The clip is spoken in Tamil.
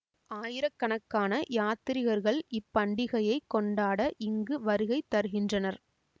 ஆயிரக்கணக்கான யாத்திரிகர்கள் இப்பண்டிகையை கொண்டாட இங்கு வருகை தருகின்றனர்